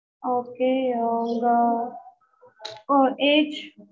okay ஆஹ் உங்க age